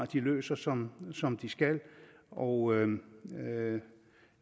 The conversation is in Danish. de løser som som de skal og